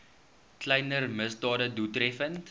kleiner misdade doeltreffend